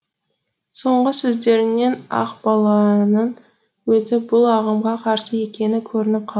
соңғы сөздерінен ақбаланың өзі бұл ағымға қарсы екені көрініп қалды